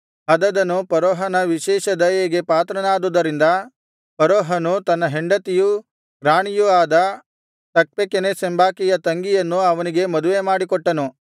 ಹದದನು ಫರೋಹನ ವಿಶೇಷ ದಯೆಗೆ ಪಾತ್ರನಾದುದರಿಂದ ಫರೋಹನನು ತನ್ನ ಹೆಂಡತಿಯೂ ರಾಣಿಯೂ ಆದ ತಖ್ಪೆನೇಸ್ ಎಂಬಾಕೆಯ ತಂಗಿಯನ್ನು ಅವನಿಗೆ ಮದುವೆಮಾಡಿಕೊಟ್ಟನು